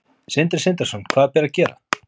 Sindri Sindrason: Hvað ber að gera?